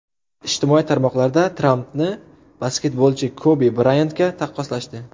Ijtimoiy tarmoqlarda Trampni basketbolchi Kobi Brayantga taqqoslashdi.